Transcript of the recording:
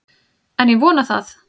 En ég vona það!